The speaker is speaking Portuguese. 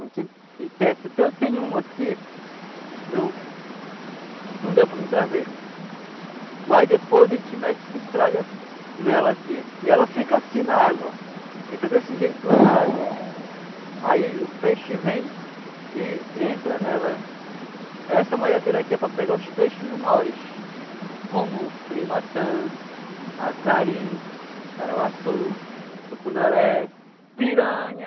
e tece. Até eu tenho uma aqui eu não deu para mim trazer mas depois a gente mete essa entralha nela aqui e ela fica assim na água ó, fica desse jeito lá na água aí o peixe vem e entra nela essa malhadeira aqui é para pegar os peixes menores como curimatã, acari, caravaçu, tucunaré, piranha